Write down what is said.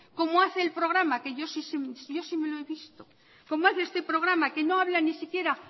como hace el programa que yo sí me lo he visto como hace este programa que no habla ni siquiera